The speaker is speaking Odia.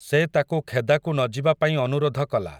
ସେ ତାକୁ ଖେଦାକୁ ନଯିବା ପାଇଁ ଅନୁରୋଧ କଲା ।